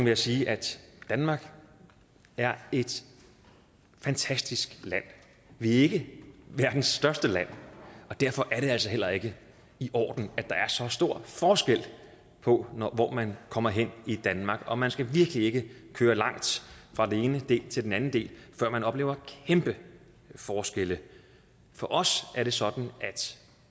jeg sige at danmark er et fantastisk land vi er ikke verdens største land og derfor er det altså heller ikke i orden at der er så stor forskel på hvor man kommer hen i danmark og man skal virkelig ikke køre langt fra en del til en anden del før man oplever kæmpe forskelle for os er det sådan at